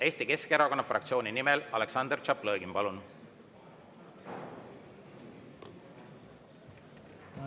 Eesti Keskerakonna fraktsiooni nimel Aleksandr Tšaplõgin, palun!